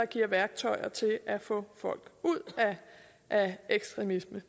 giver værktøjer til at få folk ud af ekstremisme